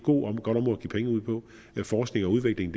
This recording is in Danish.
penge ud på forskning og udvikling